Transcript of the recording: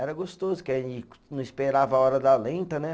Era gostoso, porque a gente não esperava a hora da lenta, né?